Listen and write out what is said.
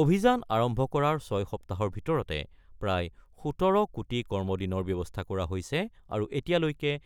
অভিযান আৰম্ভ কৰাৰ ছয় সপ্তাহৰ ভিতৰতে প্ৰায় ১৭ কোটি কৰ্ম দিনৰ ব্যৱস্থা কৰা হৈছে আৰু এতিয়ালৈকে